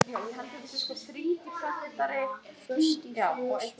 Boði Logason: Að taka rollur?